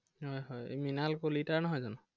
হয় হয় এৰ মৃনাল কলিতাৰ নহয় জানো?